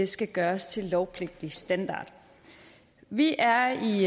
skal gøres til lovpligtig standard vi er i